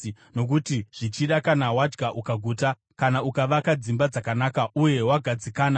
Nokuti zvichida kana wadya ukaguta, kana ukavaka dzimba dzakanaka uye wagadzikana,